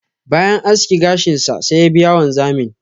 bayan aski gashin sa, sai ya biya wanzamin.